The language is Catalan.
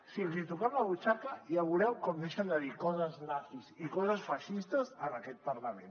si els hi toquem la butxaca ja veureu com deixen de dir coses nazis i coses feixistes en aquest parlament